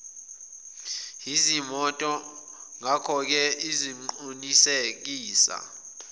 yezimoto ngakoke sizoqinisekisa